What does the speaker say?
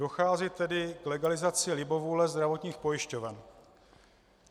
Dochází tedy k legalizaci libovůle zdravotních pojišťoven.